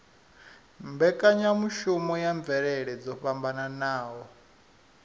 mbekanyamushumo ya mvelele dzo fhambanaho